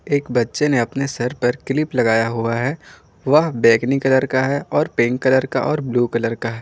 एक बच्चे ने अपने सर पर क्लिप लगाया हुआ है वह बैंगनी कलर का है और पिंक कलर का और ब्लू कलर का है।